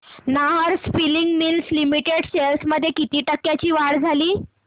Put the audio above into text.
Nahar spinning mills limited shares मध्ये किती टक्क्यांची वाढ झाली